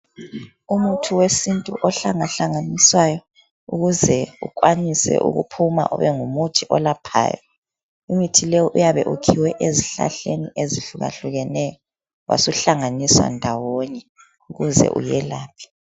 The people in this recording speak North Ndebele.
Umuthi wesintu ohlangahlanganiswayo ukuze ukwanise ukuphuma ube ngumuthi olaphayo. Imuthi leyi iyabe ikhiwe ezihlahleni ezihlukahlukeneyo, wasuhlanganiswa ndawonye ukuze uyelaphe.